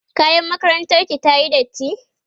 kayan makarantar ki tayi datti?